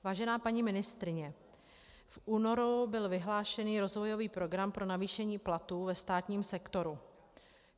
Vážená paní ministryně, v únoru byl vyhlášen rozvojový program pro navýšení platů ve státním sektoru.